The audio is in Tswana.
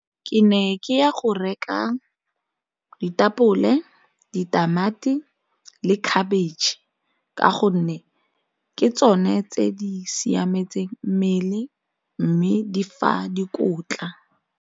Ke ne ke ya go reka ditapole, ditamati le khabetšhe ka gonne ke tsone tse di siametseng mmele mme di fa dikotla.